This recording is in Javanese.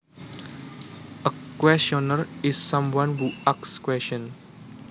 A questioner is someone who asks questions